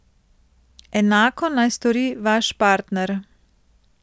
Enako naj stori vaš partner.